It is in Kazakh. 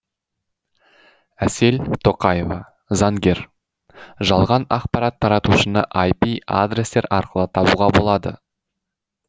әсел тоқаева заңгер жалған ақпарат таратушыны айпи адрестер арқылы табуға болады